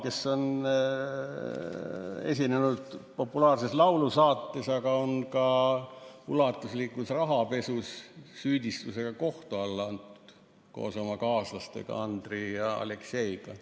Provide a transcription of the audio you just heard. Ta on esinenud populaarses laulusaates, aga ta on ka ulatuslikus rahapesus süüdistatuna kohtu alla antud koos oma kaaslaste Andrii ja Alekseiga.